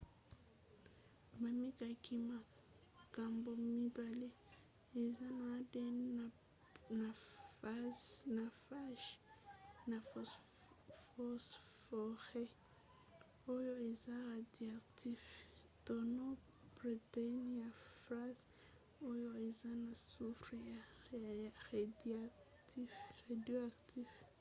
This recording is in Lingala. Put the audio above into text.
bamekaki makambo mibale eza na adn na phage na phosphore oyo eza radioactif to na protéine ya phage oyo eza na soufre ya radioactif